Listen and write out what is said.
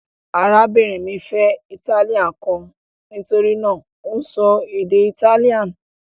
Arábìnrin mi fẹ́ italian kan: nítorí náà, ó ń sọ èdè Italian